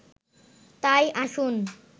তাই আসুন